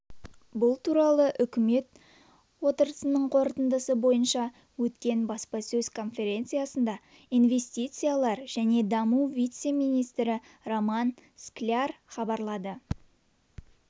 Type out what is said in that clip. бұл туралы үкімет отырысының қорытындысы бойынша өткен баспасөз конференциясында инвестициялар және даму вице-министрі роман скляр хабарлады